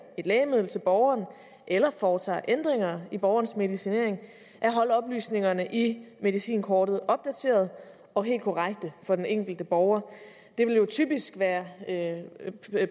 et lægemiddel til borgeren eller foretager ændringer i borgerens medicinering at holde oplysningerne i medicinkortet opdaterede og helt korrekte for den enkelte borger det vil jo typisk være